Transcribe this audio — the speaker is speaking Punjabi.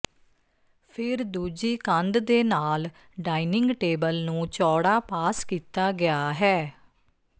ਫਿਰ ਦੂਜੀ ਕੰਧ ਦੇ ਨਾਲ ਡਾਈਨਿੰਗ ਟੇਬਲ ਨੂੰ ਚੌੜਾ ਪਾਸ ਕੀਤਾ ਗਿਆ ਹੈ